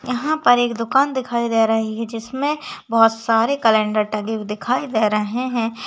यहा पर एक दुकान दिखाई दे रही है। जिसमे बहुत सारे कॅलेंडर टांगे हुए दिखाई दे रहे है।